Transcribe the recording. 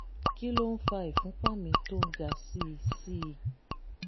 kí ló ń fa ìfúnpá mi tó ń ga sí sí i?